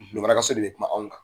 lomara ka so de kuma anw kan